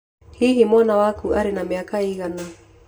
Hihi wana waku arĩ na mĩaka ĩigana?